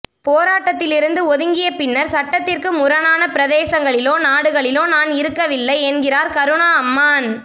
போராட்டத்திலிருந்து ஒதுங்கிய பின்னர் சட்டத்திற்கு முரணான பிரதேசங்களிலோ நாடுகளிலோ நான் இருக்கவில்லை என்கின்றார் கருணா அம்மான்